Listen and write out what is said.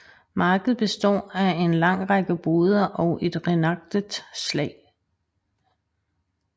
Markedet består af en lang række boder og et reenactet slag